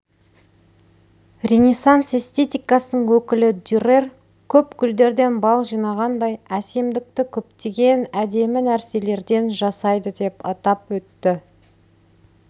ренессанс эстетикасының өкілі дюрер көп гүлдерден бал жинағандай әсемдікті көптеген әдемі нәрселерден жасайды деп атап өтті